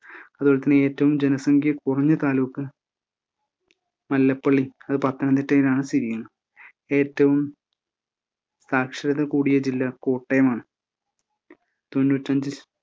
അതുപോലെതന്നെ ഏറ്റവും ജനസംഖ്യ കുറഞ്ഞ താലൂക്ക് മല്ലപ്പള്ളി അത് പത്തനംതിട്ടയിലാണ് സ്ഥിതി ചെയ്യുന്നത് ഏറ്റവും സാക്ഷരതാ കൂടിയ ജില്ലാ കോട്ടയമാണ് തൊണ്ണൂറ്റഞ്ച്